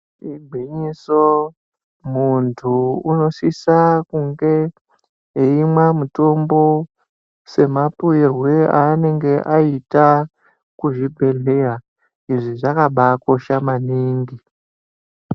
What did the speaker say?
Igwinyiso muntu unosisa kunge eimwa mutombo semapuwirwe anenge aita kuzvibhehleya. Izvi zvakabakosha maningi.